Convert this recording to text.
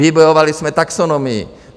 Vybojovali jsme taxonomii.